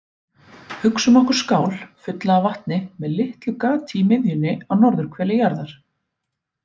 Hugsum okkur skál fulla af vatni með litlu gati í miðjunni á norðurhveli jarðar.